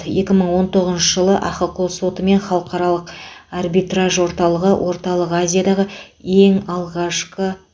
екі мың он тоғызыншы жылы ахқо соты мен халықаралық арбитраж орталығы орталық азиядағы ең алғашқы